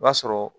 O b'a sɔrɔ